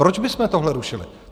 Proč bychom tohle rušili?